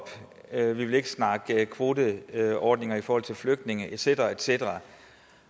med vil ikke snakke kvoteordninger i forhold til flygtninge et cetera et cetera